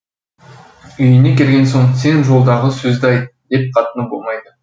үйіне келген соң сен жолдағы сөзді айт деп қатыны болмайды